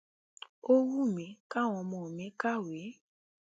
ó wù mí káwọn ọmọ mi kàwèé